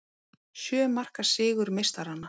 Sjö marka sigur meistaranna